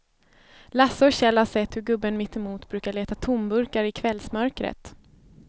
Lasse och Kjell har sett hur gubben mittemot brukar leta tomburkar i kvällsmörkret.